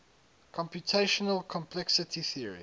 computational complexity theory